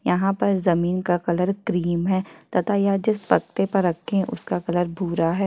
यहाँ पर जमीन का कलर क्रीम है तथा यह जिस पत्ते पर रखे उसका कलर भूरा है।